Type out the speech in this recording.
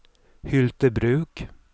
Hyltebruk